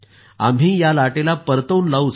आम्ही या लाटेला परतवून लावू